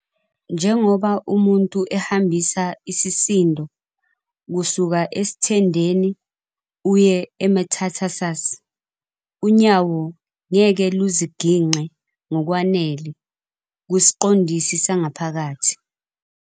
Njengoba umuntu ehambisa isisindo kusuka esithendeni uye emethatarsus, unyawo ngeke luzigingqe ngokwanele kusiqondisi sangaphakathi.